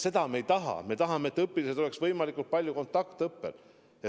Seda me ei taha, me tahame, et õpilased oleks võimalikult palju kontaktõppel.